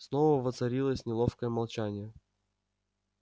снова воцарилось неловкое молчание